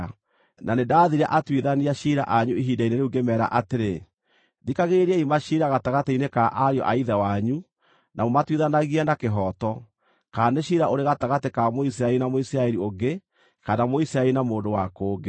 Na nĩndathire atuithania ciira anyu ihinda-inĩ rĩu ngĩmeera atĩrĩ: Thikagĩrĩriai maciira gatagatĩ-inĩ ka ariũ a ithe wanyu, na mũmatuithanagie na kĩhooto, kana nĩ ciira ũrĩ gatagatĩ ka Mũisiraeli na Mũisiraeli ũngĩ, kana Mũisiraeli na mũndũ wa kũngĩ.